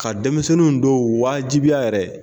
Ka denmisɛnninw dɔw waajibiya yɛrɛ.